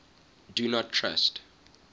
do not trust